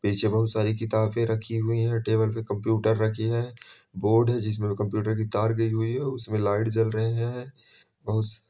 पीछे बोहोत बहु सारी किताबें रखी हुई हे टेबल पे कंप्युटर रखी है बोर्ड जिसमें वो कम्प्युटर की तार गई हुई है और उसमें लाइट जल रहें हैं। --